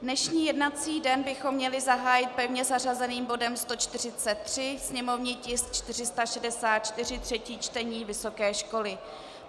Dnešní jednací den bychom měli zahájit pevně zařazeným bodem 143, sněmovní tisk 464, třetí čtení, vysoké školy.